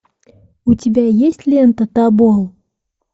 у тебя есть лента тобол